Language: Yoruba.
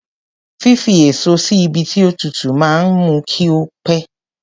Fífi èso sí ibi tí ó tútù máa ń mú kí ó pẹ̀.